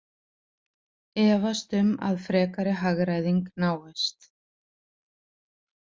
Efast um að frekari hagræðing náist